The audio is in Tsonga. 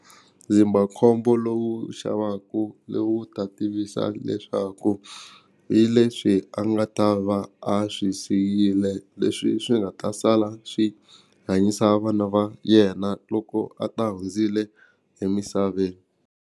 Ndzindzakhombo lowu xavaku lowu ta tivisa leswaku hi leswi a nga ta va a swi siyile leswi swi nga ta sala swi hanyisa vana va yena loko a ta hundzile emisaveni.